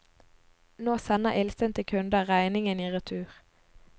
Nå sender illsinte kunder regningen i retur.